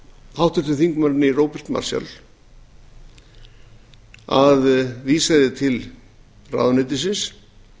háttvirtur þingmaður róbert marshall að vísa því til ráðuneytisins